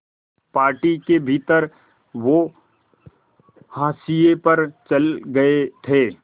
party के भीतर वो हाशिए पर चले गए थे